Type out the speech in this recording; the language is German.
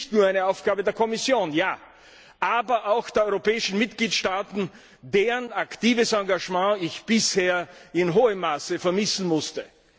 Es ist nicht nur eine Aufgabe der Kommission, sondern auch der europäischen Mitgliedstaaten, deren aktives Engagement ich bisher in hohem Maße vermissen musste.